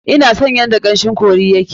Ina son yadda kamshin curry ya ke.